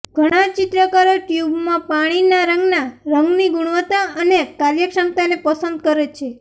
ઘણા ચિત્રકારો ટ્યુબમાં પાણીના રંગના રંગની ગુણવત્તા અને કાર્યક્ષમતાને પસંદ કરે છે